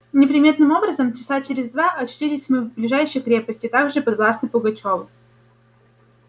неприметным образом часа через два очутились мы в ближней крепости также подвластной пугачёву